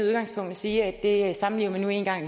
sige at